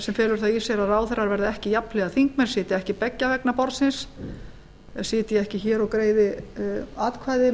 sem felur það í sér að ráðherrar verði ekki jafnhliða þingmenn sitji ekki beggja vegna borðsins sitji ekki hér og greiði atkvæði